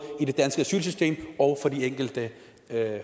i det danske asylsystem og for de enkelte